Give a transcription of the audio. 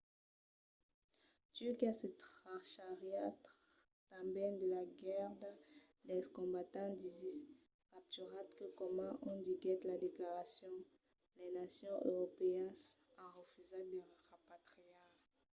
turquia se trachariá tanben de la garda dels combatents d’isis capturats que coma o diguèt la declaracion las nacions europèas an refusat de repatriar